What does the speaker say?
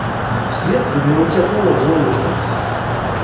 средство для мытья пола золушка